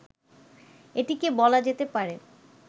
এটিকে বলা যেতে পারে